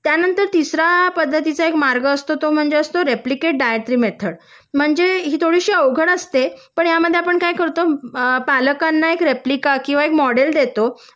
त्यानंतर तिसऱ्या पद्धतीचा एक मार्ग असतो तो म्हणजे रेप्लीकेट डायट्री मेथड म्हणजे ही थोडीशी अवघड असते पण ह्यामध्ये आपण काय करतो अ पालकांना एक रीपलिका किंवा मॉडेल देतो